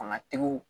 Fanga tigiw